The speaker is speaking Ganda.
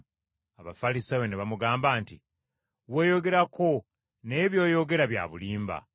Abafalisaayo ne bamugamba nti, “Weeyogerako naye by’oyogera bya bulimba.”